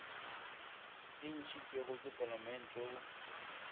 e ntšhitšwego ke palamente go